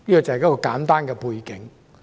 這是簡單的背景。